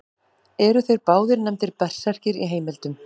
Eru þeir báðir nefndir berserkir í heimildum.